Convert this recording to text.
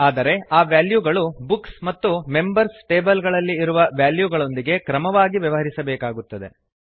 ಆದರೆ ಆ ವೆಲ್ಯೂಗಳು ಬುಕ್ಸ್ ಮತ್ತು ಮೆಂಬರ್ಸ್ ಟೇಬಲ್ ಗಳಲ್ಲಿ ಇರುವ ವೆಲ್ಯೂಗಳೊಂದಿಗೆ ಕ್ರಮವಾಗಿ ವ್ಯವಹರಿಸಬೇಕಾಗುತ್ತದೆ